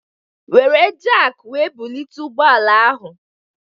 Wéré jaki wee bulite ụgbọala ahu